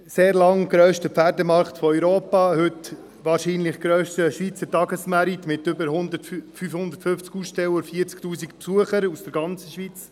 Er war sehr lange der grösste Pferdemärkte Europas und ist heute wahrscheinlich der grösste Tagesmarkt mit über 550 Ausstellern und 40 000 Besuchern aus der ganzen Schweiz.